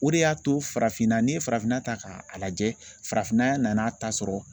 O de y'a to farafinna, n'i ye farafinna ta k'a lajɛ , farafinna nan'a ta sɔrɔ